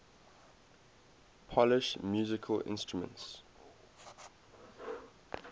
polish musical instruments